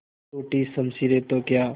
टूटी शमशीरें तो क्या